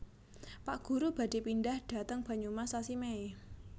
Pak guru badhe pindah dhateng Banyumas sasi Mei